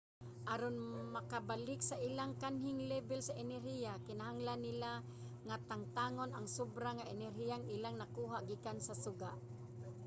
aron makabalik sa ilang kanhing lebel sa enerhiya kinahanglan nila nga tangtangon ang sobra nga enerhiyang ilang nakuha gikan sa suga